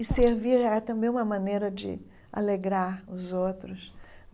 E servir é também uma maneira de alegrar os outros.